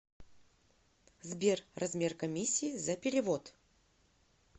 сбер размер комиссии за перевод